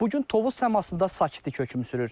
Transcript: Bu gün Tovuz səmasında sakitlik hökm sürür.